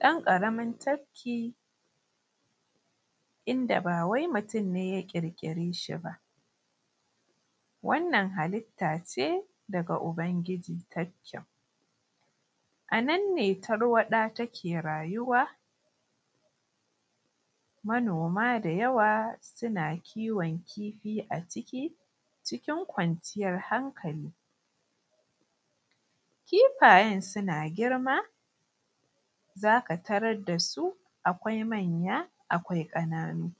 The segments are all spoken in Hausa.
Ɗan ƙaramin tabki inda ba wai mutum ne ya ƙiƙire shi ba, wannan halitta ce daga Ubangiji tafkin. A nan ne tarwaɗa take rayuwa, manoma da yawa suna kiwon kifi a ciki cikin kwanciyar hankali, kifayen suna girma zaka tarar da su akwai manya akwai ƙananu.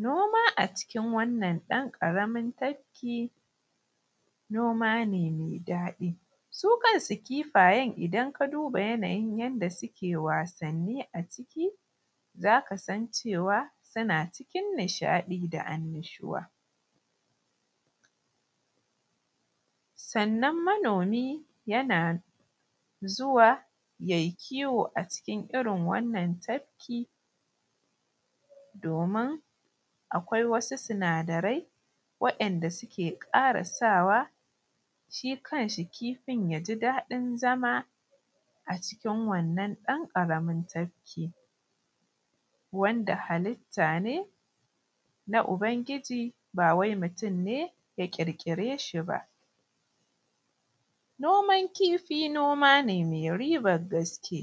Noma acikin wannan ɗan ƙaramin tabki noma ne mai daɗi su kansu kifayen idan ka duba yanayin yanda suke wasanni a ciki, zaka san cewa suna cikin nishaɗi da annashuwa. Sannan manomi yana zuwa yayi kiwo a cikin irin wannan tabki domin akwai wasu sinadarai wa’inda suke ƙara sawa shi kan shi kifin ya ji daɗin zama a cikin wannan ɗan ƙaramin tabki, wanda halitta ne na Ubangiji ba wai mutum ne ya qirƙire shi ba. Noman kifi noma ne mai riban gaske.